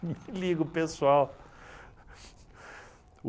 Me liga, pessoal.